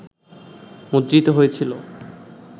মুদ্রিত হয়েছিল